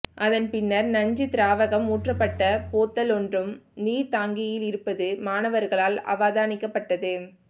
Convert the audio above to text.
அதன் பின்னர் நஞ்சுத் திராவகம் ஊற்றப்பட்ட போத்தலொன்றும் நீர்த் தாங்கியிலிருப்பது மாணவர்களால் அவதானிக்கப்பட்டது